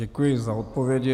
Děkuji za odpovědi.